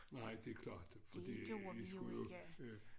Nej det klart fordi I skulle jo øh